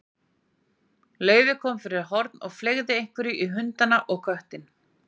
Laufey kom fyrir horn og fleygði einhverju í hundana og köttinn.